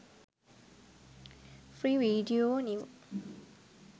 free video new